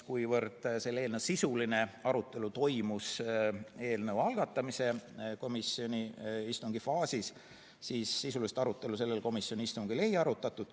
Kuna selle eelnõu sisuline arutelu toimus eelnõu algatamise istungil, siis sellel komisjoni istungil eelnõu sisuliselt ei arutatud.